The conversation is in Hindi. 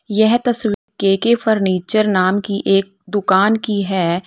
यह तस्वीर के_के फर्नीचर नाम की एक दुकान की है।